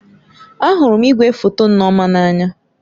Ahụrụ m igwefoto Nneoma n'anya